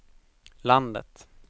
landet